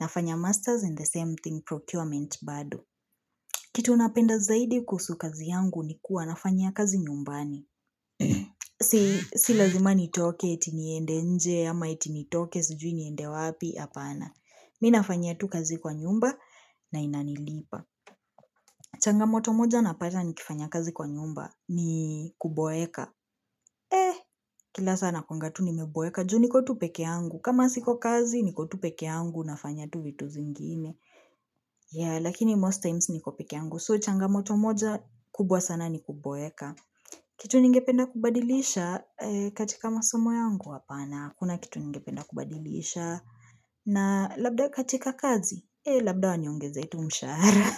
nafanya ''master's and the same thing procurement'' bado. Kitu napenda zaidi kuhusu kazi yangu ni kuwa nafanya kazi nyumbani. Si lazima nitoke eti niende nje ama eti nitoke sujui niende wapi apana. Mimi nafanya tu kazi kwa nyumba na inanilipa. Changamoto moja napata nikifanya kazi kwa nyumba ni kuboeka. Eh kila sana nakuanga tu nimeboeka juu niko tu pekee yangu. Kama siko kazi niko tu pekee yangu nafanya tu vitu zingine. Ya lakini ''most times'' niko pekee yangu. ''So'' changamoto moja kubwa sana ni kuboeka kitu nyingependa kubadilisha katika masomo yangu apana kuna kitu ningependa kubadilisha na labda katika kazi ee labda waniongezee tu mshahara.